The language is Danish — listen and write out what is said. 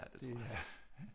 Ja det tror jeg